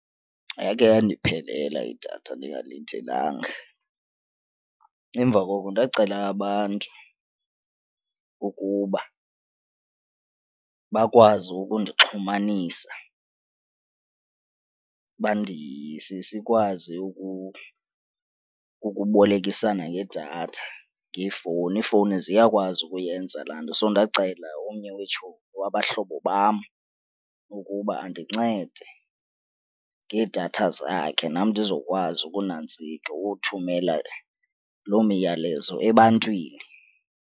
Yake yandiphelela idatha ndingalindelanga. Emva koko ndacela abantu ukuba bakwazi ukundixhumanisa sikwazi ukubolekisana ngedatha, ngeefowuni iifowuni ziyakwazi ukuyenza laa nto. So, ndacenga omnye weetshomi wabahlobo bam ukuba andincede ngeedatha zakhe nam ndizokwazi akunantsika ukuthumela loo miyalezo ebantwini.